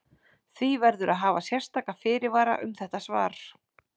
Því verður að hafa sérstaka fyrirvara um þetta svar.